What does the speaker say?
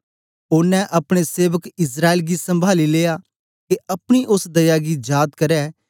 ओनें अपने सेवक इस्राएल गी सम्भाली लिया के अपनी ओस दया गी जाद करै